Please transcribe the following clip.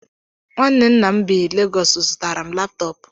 Nwanne nna m bi Legọs zụtara m laptọọp.